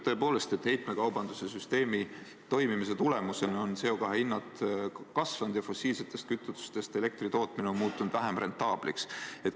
Tõepoolest, heitmekaubandussüsteemi toimimise tulemusena on CO2 hinnad kasvanud ja fossiilsetest kütustest elektri tootmine on muutunud vähem rentaabliks.